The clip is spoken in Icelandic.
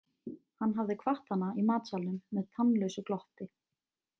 Hann hafði kvatt hana í matsalnum með tannlausu glotti.